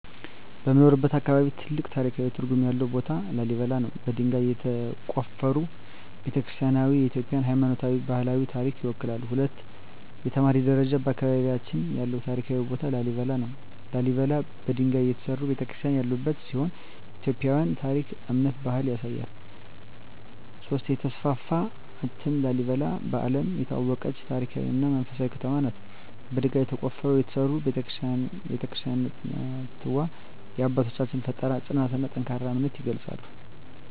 በምኖርበት አካባቢ ትልቅ ታሪካዊ ትርጉም ያለው ቦታ ላሊበላ ነው። በድንጋይ የተቆፈሩ ቤተ-ክርስቲያናትዋ የኢትዮጵያን ሃይማኖታዊና ባህላዊ ታሪክ ይወክላሉ። 2) የተማሪ ደረጃ በአካባቢያችን ያለው ታሪካዊ ቦታ ላሊበላ ነው። ላሊበላ በድንጋይ የተሠሩ ቤተ-ክርስቲያናት ያሉበት ሲሆን የኢትዮጵያን ታሪክ፣ እምነትና ባህል ያሳያል። 3) የተስፋፋ እትም ላሊበላ በዓለም የታወቀች ታሪካዊ እና መንፈሳዊ ከተማ ናት። በድንጋይ ተቆፍረው የተሠሩ ቤተ-ክርስቲያናትዋ የአባቶቻችንን ፍጠራ፣ ጽናትና ጠንካራ እምነት ይገልጻሉ።